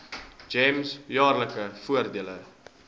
gems jaarlikse voordele